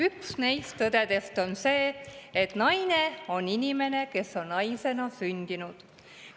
Üks neist tõdedest on see, et naine on inimene, kes on naisena sündinud.